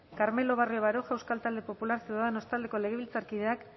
carmelo barrio baroja euskal talde popularra ciudadanos taldeko legebiltzarkideak